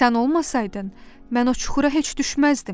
"Sən olmasaydın, mən o çuxura heç düşməzdim."